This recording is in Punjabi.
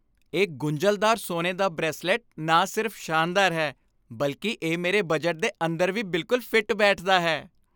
ਇਹ ਗੁੰਝਲਦਾਰ ਸੋਨੇ ਦਾ ਬਰੇਸਲੇਟ ਨਾ ਸਿਰਫ ਸ਼ਾਨਦਾਰ ਹੈ, ਬਲਕਿ ਇਹ ਮੇਰੇ ਬਜਟ ਦੇ ਅੰਦਰ ਵੀ ਬਿਲਕੁਲ ਫਿੱਟ ਬੈਠਦਾ ਹੈ।